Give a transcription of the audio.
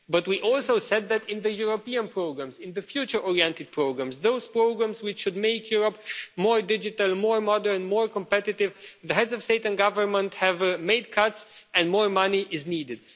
But we also said that, in the European programmes in the future-oriented programmes, those programmes which should make Europe more digital, more modern, more competitive the heads of state and government had made cuts and more money was needed.